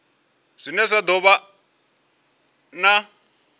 zwine zwa do vha na